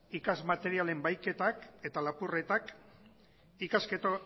ikas materialen bahiketak eta lapurretak